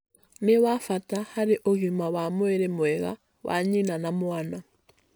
nĩ wa bata harĩ ũgima wa mwĩrĩ mwega wa nyina na mwana